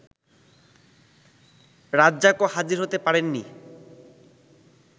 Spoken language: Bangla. রাজ্জাকও হাজির হতে পারেননি